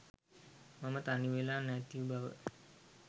මම තනිවෙලා නැතිබව.